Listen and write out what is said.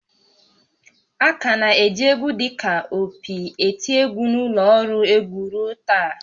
A ka na-eji égwú dị ka opi eti égwú na ụlọ ọrụ egwu ruo taa